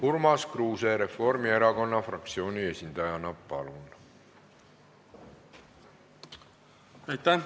Urmas Kruuse Reformierakonna fraktsiooni esindajana, palun!